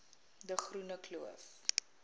de groene kloof